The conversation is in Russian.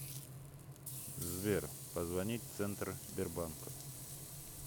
сбер позвонить центр сбербанка